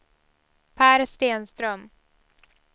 Per Stenström